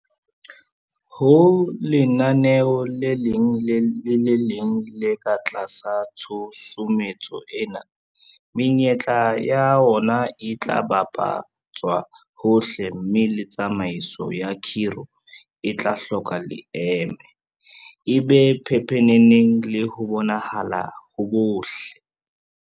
Ho lenaneo le leng le le leng le ka tlasa tshusumetso ena, menyetla ya ona e tla bapa tswa hohle mme le tsamaiso ya khiro e tla hloka leeme, e be pepeneneng le ho bonahala ho bohle.